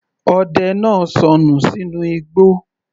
Ọdẹ náà sọnù sínú igbó